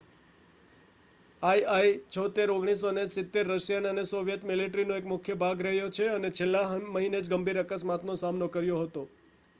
ii-76 1970 Russian અને Soviet મિલ્ટરીનો એક મુખ્ય ભાગ રહ્યો છે અને છેલ્લા મહિનેજ ગંભીર અકસ્માત નો સામનો કર્યો હતો